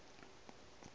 ga e hlabe e se